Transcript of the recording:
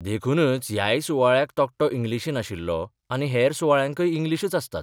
देखूनच ह्याय सुवाळ्याक तकटो इंग्लिशीन आशिल्लो आनी हेर सुवाळ्यांकय इंग्लिशच आसतात.